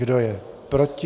Kdo je proti?